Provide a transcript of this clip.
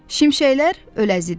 Şimşəklər öləzidi.